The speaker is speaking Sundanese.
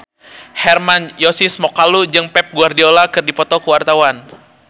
Hermann Josis Mokalu jeung Pep Guardiola keur dipoto ku wartawan